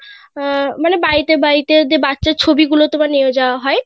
আহ মানে বাড়িতে বাড়িতে যে বাচ্চার ছবি গুলো তোমার নিয়ে যাওয়া হয়